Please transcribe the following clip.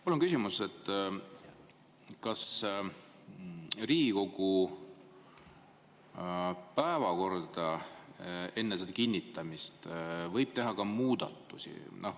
Mul on küsimus, kas Riigikogu päevakorda võib enne selle kinnitamist teha ka muudatusi.